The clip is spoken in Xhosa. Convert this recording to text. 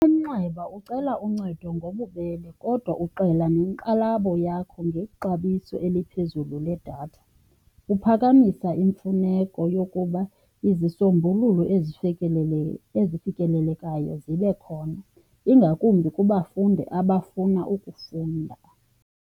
Umnxeba ucela uncedo ngobubele kodwa uxela nenkxalabo yakho ngexabiso eliphezulu ledatha. Uphakamisa imfuneko yokuba izisombululo ezifikelelekayo zibe khona, ingakumbi kubafundi abafuna ukufunda.